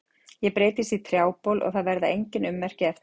Ég breytist í trjábol og það verða engin ummerki eftir eldinn.